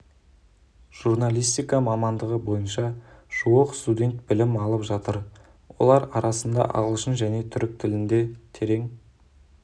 журналистика мамандығы бойынша жуық студент білім алып жатыр олардың арасында ағылшын және түрік тілінде терең